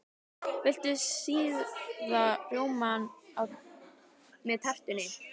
Viltu sýrðan rjóma með tertunni?